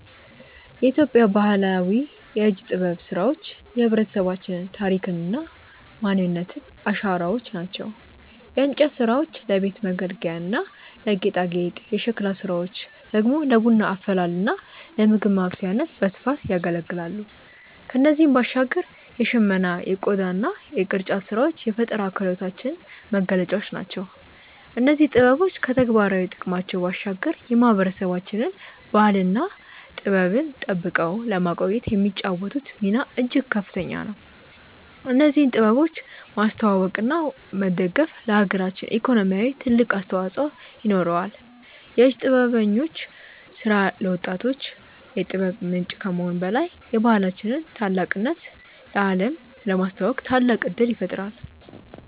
የኢትዮጵያ ባህላዊ የእጅ ጥበብ ስራዎች የህብረተሰባችን ታሪክና ማንነት አሻራዎች ናቸው። የእንጨት ስራዎች ለቤት መገልገያና ለጌጣጌጥ፣ የሸክላ ስራዎች ደግሞ ለቡና አፈላልና ለምግብ ማብሰያነት በስፋት ያገለግላሉ። ከእነዚህም ባሻገር የሽመና የቆዳና የቅርጫት ስራዎች የፈጠራ ክህሎታችን መገለጫዎች ናቸው። እነዚህ ጥበቦች ከተግባራዊ ጥቅማቸው ባሻገር የማህበረሰባችንን ባህልና ጥበብ ጠብቀው ለማቆየት የሚጫወቱት ሚና እጅግ ከፍተኛ ነው። እነዚህን ጥበቦች ማስተዋወቅና መደገፍ ለሀገራችን ኢኮኖሚ ትልቅ አስተዋጽኦ ይኖረዋል። የእጅ ጥበበኞች ስራ ለወጣቶች የጥበብ ምንጭ ከመሆኑም በላይ የባህላችንን ታላቅነት ለአለም ለማስተዋወቅ ታላቅ እድል ይፈጥራል።